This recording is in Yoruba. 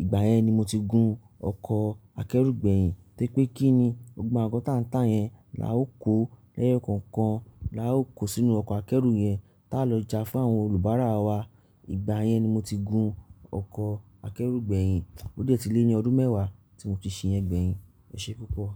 ìgbà yẹn ni mo ti gun ọkọ̀ akẹ́rù gbẹ̀yìn. Tẹ́ pé kí ni, gbogbo àwọn ọkọ̀ tá ń tà yẹn là ó kó lẹ́yọ̀kọ̀ọ̀kan, là ó kó sínú ọkọ̀ akẹ́rù yẹn tá lọ ìjà fún àwọn olùbárà wa. Ìgbà yẹn ni mo ti gun ọkọ̀ akẹ́rù gbẹ̀yìn. Ó dé tílẹ̀ ni ọdún mẹ́wàá tí mò n ti ṣe yẹn gbẹ̀yìn. Ẹ ṣé púpọ̀.